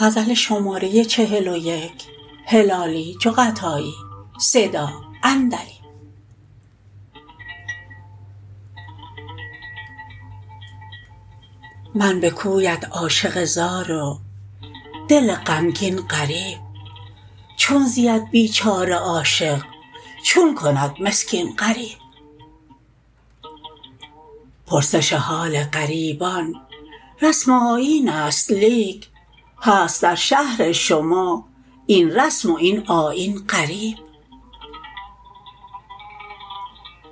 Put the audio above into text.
من بکویت عاشق زار و دل غمگین غریب چون زید بیچاره عاشق چون کند مسکین غریب پرسش حال غریبان رسم و آیینست لیک هست در شهر شما این رسم و این آیین غریب